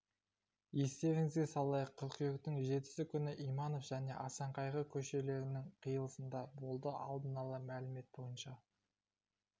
естеріңізге салайық қыркүйектің жетісі күні иманов және асан қайғы көшелерінің қиылысында болды алдын ала мәлімет бойнша